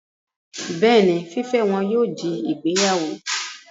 Bẹ́ẹ̀ni, fífẹ́ wọn yóò di ìgbéyàwó